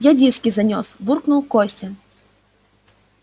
я диски занёс буркнул костя